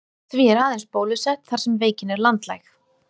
Því er aðeins bólusett þar sem veikin er landlæg.